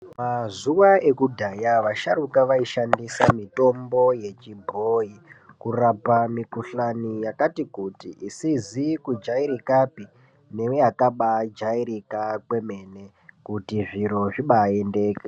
Mazuva ekudhaya vasharuka vaishandisa mitombo yechibhoi kurapa mikuhlani yakati kuti. Isizi kujairikapi neyakabajairika kwemene kuti zviro zvibaendeke.